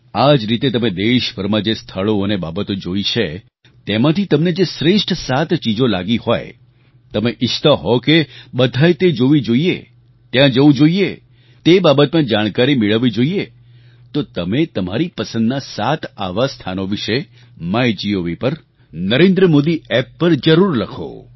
આ જ રીતે તમે દેશભરમાં જે સ્થળો અને બાબતો જોઈ છે તેમાંથી તમને જે શ્રેષ્ઠ સાત ચીજો લાગી હોય તમે ઈચ્છતા હો કે બધાએ તે જોવી જોઈએ ત્યાં જવું જોઈએ તે બાબતમાં જાણકારી મેળવવી જોઈએ તો તમે તમારી પસંદનાં સાત આવાં સ્થાનો વિશે માયગોવ પર NarendraModiApp પર જરૂર લખો